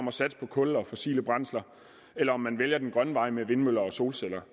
at satse på kul og fossile brændsler eller om man vælger den grønne vej med vindmøller og solceller